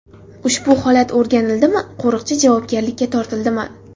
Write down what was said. Ushbu holat o‘rganildimi, qo‘riqchi javobgarlikka tortildimi?